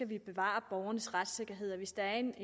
vi bevare borgernes retssikkerhed og hvis der er en